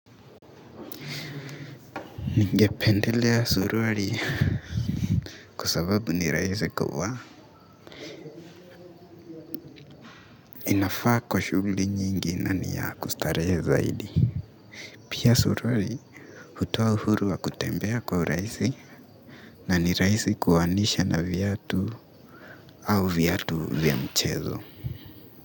Ningependelea suruali kwa sababu ni rahisi kuvaa inafaa kwa shughuli nyingi na ni ya kustarehe zaidi. Pia suruali hutoa uhuru wa kutembea kwa urahisi na ni rahisi kuvaanisha na viatu au viatu vya mchezo.